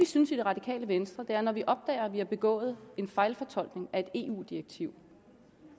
synes i det radikale venstre er at når vi opdager at vi har begået en fejlfortolkning af et eu direktiv